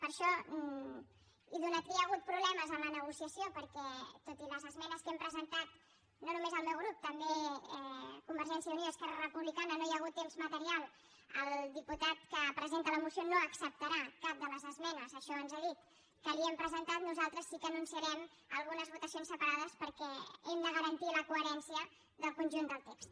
per això i atès que hi ha hagut problemes en la negociació perquè tot i les esmenes que hem presentat no només el meu grup també convergència i unió i esquerra republicana no hi ha hagut temps material el diputat que presenta la moció no acceptarà cap de les esmenes això ens ha dit que li hem presentat nosaltres sí que anunciarem algunes votacions separades perquè hem de garantir la coherència del conjunt del text